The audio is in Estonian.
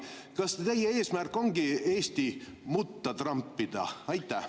Kas teie eesmärk ongi Eesti mutta trampida?